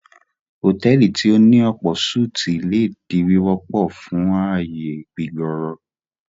Hotẹ́ẹ́lì tí o ní ọ̀pọ̀-súti le di wíwọpọ fun aáyè gbígbòòrò.